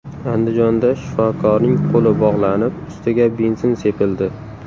Andijonda shifokorning qo‘li bog‘lanib, ustiga benzin sepildi.